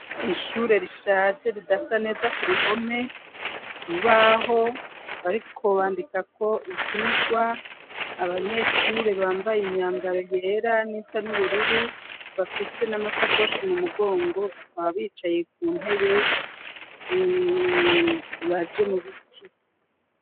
Ishure rishaje ridasa neza ku bihome bubaho ariko bandika ko ibyigwa abanyeshure bambaye imyangaro yera n'isa n'ubururu bafise n'a masakosh mu mugongo bakaba bicaye ku ntebe zibaje mu biti.